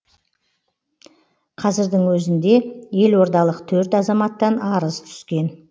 қазірдің өзінде елордалық төрт азаматтан арыз түскен